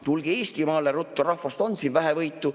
Tulge Eestimaale ruttu, rahvast on siin vähevõitu.